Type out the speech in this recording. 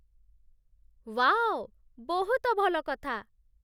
Wow... ବହୁତ ଭଲ କଥା!